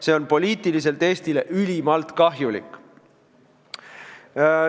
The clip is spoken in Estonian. See on poliitiliselt Eestile ülimalt kahjulik.